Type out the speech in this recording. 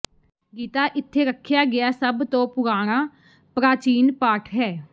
ਗੀਤਾ ਇੱਥੇ ਰੱਖਿਆ ਗਿਆ ਸਭ ਤੋਂ ਪੁਰਾਣਾ ਪ੍ਰਾਚੀਨ ਪਾਠ ਹੈ